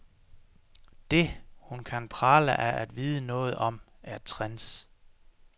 Det, hun kan prale af at vide noget om, er trends.